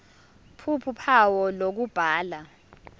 ph uphawu lokubhala